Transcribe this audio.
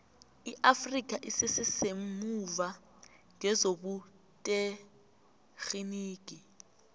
iafrikha isese semuva ngezobuterhinigi